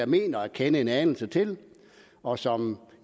mener at kende en anelse til og som